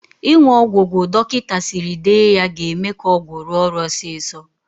Ịṅụ ọgwụ gwụ dọkịta siri dee ga-eme ka ọgwụ rụọ ọrụ osiso.